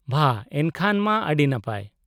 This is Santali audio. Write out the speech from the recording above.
-ᱵᱷᱟ, ᱮᱱᱠᱷᱟᱱ ᱢᱟ ᱟᱹᱰᱤ ᱱᱟᱯᱟᱭ ᱾